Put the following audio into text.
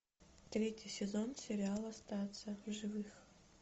третий сезон сериала остаться в живых